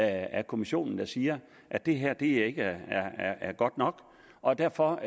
af kommissionen der siger at det her ikke ikke er godt nok og derfor